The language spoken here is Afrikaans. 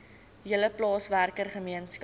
hele plaaswerker gemeenskap